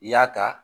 I y'a ta